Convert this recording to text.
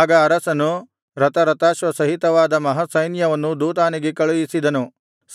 ಆಗ ಅರಸನು ರಥರಥಾಶ್ವ ಸಹಿತವಾದ ಮಹಾಸೈನ್ಯವನ್ನು ದೋತಾನಿಗೆ ಕಳುಹಿಸಿದನು